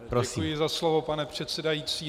Děkuji za slovo, pane předsedající.